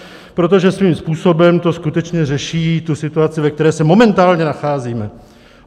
Protože svým způsobem to skutečně řeší tu situaci, ve které se momentálně nacházíme.